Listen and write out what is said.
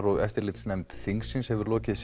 og eftirlitsnefnd þingsins hefur lokið